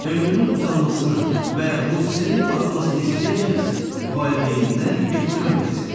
Ömrünün uzanmasını və ruzisinin artmasını istəyən kəs valideyninə ehtiram etsin.